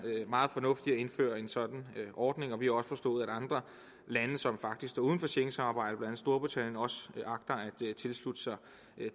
meget fornuft i at indføre en sådan ordning vi har også forstået at andre lande som står uden for schengensamarbejdet at tilslutte sig